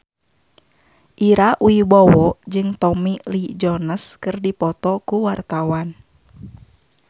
Ira Wibowo jeung Tommy Lee Jones keur dipoto ku wartawan